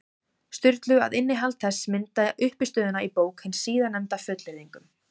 Sturlu, að innihald þess myndaði uppistöðuna í bók hins síðarnefnda, fullyrðingum.